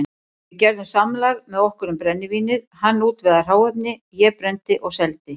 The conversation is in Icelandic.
Við gerðum samlag með okkur um brennivínið, hann útvegaði hráefni, ég brenndi og seldi.